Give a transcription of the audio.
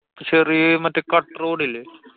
ചെറ്യേ മറ്റേ കട്ട road ഇല്ല്യേ?